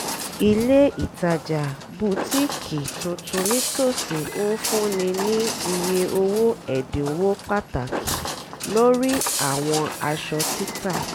ilé ìtajà bútíkì tuntun nítòsí ń fúnni ní ìye owó ẹ̀dínwó pàtàkì lórí àwọn aṣọ títà